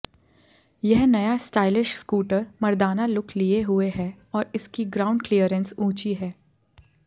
यह नया stylish scooter मर्दाना लुक लिए हुए है और इसकी ग्राउंड क्लीयरेंस ऊंची है